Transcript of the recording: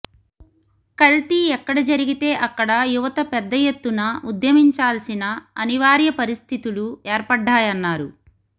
కల్తీ ఎక్కడ జరిగితే అక్కడ యువత పెద్ద ఎత్తున ఉద్యమించాల్సిన అవనివార్య పరిస్థితులు ఏర్పడ్డాయ న్నారు